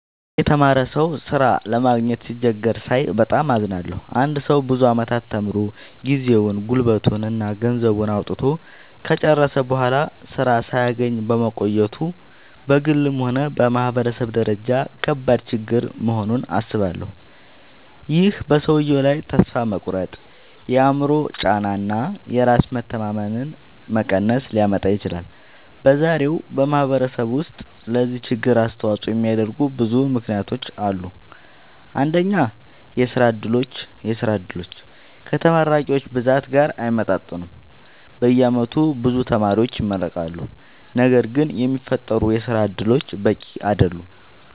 አንድ የተማረ ሰው ሥራ ለማግኘት ሲቸገር ሳይ በጣም አዝናለሁ። አንድ ሰው ብዙ ዓመታት ተምሮ፣ ጊዜውን፣ ጉልበቱን እና ገንዘቡን አውጥቶ ከጨረሰ በኋላ ሥራ ሳያገኝ መቆየቱ በግልም ሆነ በማህበረሰብ ደረጃ ከባድ ችግር መሆኑን አስባለሁ። ይህ በሰውየው ላይ ተስፋ መቁረጥ፣ የአእምሮ ጫና እና የራስ መተማመን መቀነስ ሊያመጣ ይችላል። በዛሬው ማህበረሰብ ውስጥ ለዚህ ችግር አስተዋጽኦ የሚያደርጉ ብዙ ምክንያቶች አሉ። አንደኛ፣ የሥራ ዕድሎች ከተመራቂዎች ብዛት ጋር አይመጣጠኑም። በየዓመቱ ብዙ ተማሪዎች ይመረቃሉ፣ ነገር ግን የሚፈጠሩ የሥራ እድሎች በቂ አይደሉም።